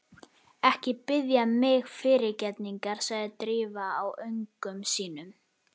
Ekki biðja mig fyrirgefningar sagði Drífa í öngum sínum.